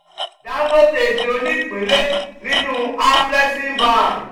dangote di onípínlẹ̀ nínú afreximbank